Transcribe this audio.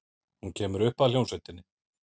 Hún kemur upp að hljómsveitinni.